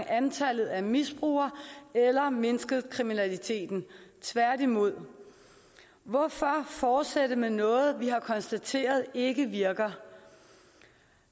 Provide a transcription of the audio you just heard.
antallet af misbrugere eller mindsket kriminaliteten tværtimod hvorfor fortsætte med noget vi har konstateret ikke virker